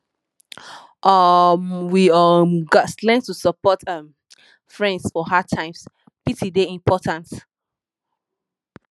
um we um gats learn to support um friends for hard times pity dey important